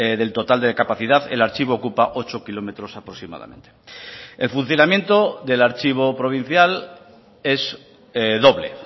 del total de capacidad el archivo ocupa ocho kilómetros aproximadamente el funcionamiento del archivo provincial es doble